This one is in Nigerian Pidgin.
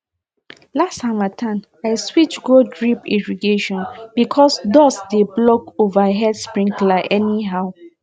last harmattan i switch go drip irrigation because dust dey block overhead sprinkler anyhow